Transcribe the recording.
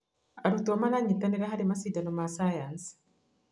Arutwo maranyitanĩra harĩ macindano ma cayanci.